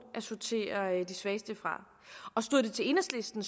at sortere de svageste fra og stod det til enhedslisten